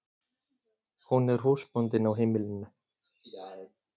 Hún er húsbóndinn á heimilinu.